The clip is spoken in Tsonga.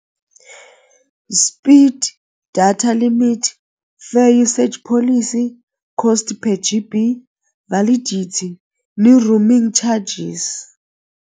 Speed, data limit, fair usage, policy cost per G_B, validity ni roaming charges.